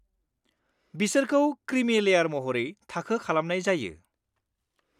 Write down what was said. बिसोरखौ क्रिमि लेयार महरै थाखो खालामनाय जायो।